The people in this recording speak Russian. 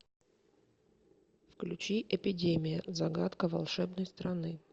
включи эпидемия загадка волшебной страны